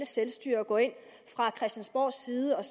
selvstyre og gå ind fra christiansborgs side og